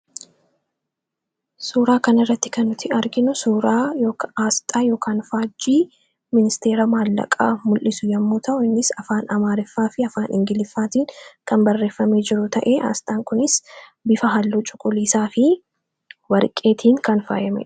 Suuraa kan irratti kannuti arginu suuraa aasxaa yookan faajjii ministeera maallaqaa mul'isu yommuu ta'uu innis afaan amaariffaa fi afaan ingiliffaatiin kan barreeffame jiru ta'e aasxaan kunis bifa halluu cuquliisaa fi warqeetiin kan faayameedha.